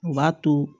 U b'a to